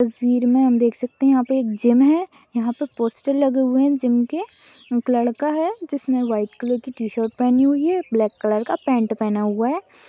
तस्वीर में हम देख सकते हैं यहाँ पे एक जिम है यहाँ पे पोस्टर लगे हुए हैं जिम के एक लड़का है जिसने व्हाइट कलर की टी शर्ट पहनी हुई है ब्लेक कलर पेंट पहना हुआ है।